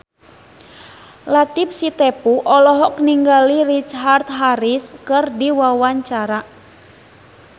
Latief Sitepu olohok ningali Richard Harris keur diwawancara